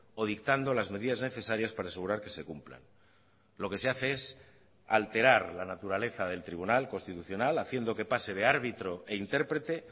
o dictando las medidas necesarias para asegurar que se cumplan lo que se hace es alterar la naturaleza del tribunal constitucional haciendo que pase de árbitro e intérprete